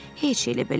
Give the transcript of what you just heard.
Heç elə-belə,